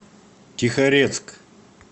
тихорецк